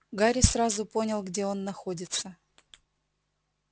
гарри сразу понял где он находится